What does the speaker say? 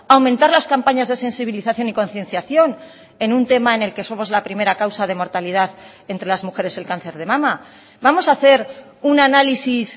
a aumentar las campañas de sensibilización y concienciación en un tema en el que somos la primera causa de mortalidad entre las mujeres el cáncer de mama vamos a hacer un análisis